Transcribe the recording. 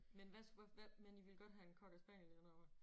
Men hvad hvad I ville godt have en cockerspaniel eller hvad?